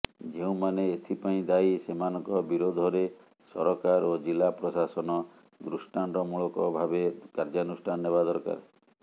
ଯେଉଁମାନେ ଏଥିପାଇଁ ଦାୟୀ ସେମାନଙ୍କ ବିରୋଧରେ ସରକାର ଓ ଜିଲ୍ଲାପ୍ରଶାସନ ଦୃଷ୍ଟାନ୍ତମୂଳକ ଭାବେ କାର୍ଯ୍ୟାନୁଷ୍ଠାନ ନେବା ଦରକାର